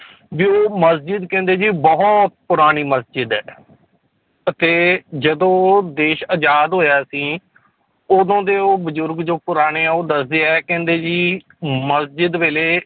ਵੀ ਉਹ ਮਸਜਿਦ ਕਹਿੰਦੇ ਜੀ ਬਹੁਤ ਪੁਰਾਣੀ ਮਸਜਿਦ ਹੈ ਅਤੇ ਜਦੋਂ ਦੇਸ ਆਜ਼ਾਦ ਹੋਇਆ ਸੀ ਉਦੋਂ ਦੇ ਉਹ ਬਜ਼ੁਰਗ ਜੋ ਪੁਰਾਣੇ ਆ ਉਹ ਦੱਸਦੇ ਹੈ ਕਹਿੰਦੇ ਵੀ ਮਸਜਿਦ ਵੇਲੇ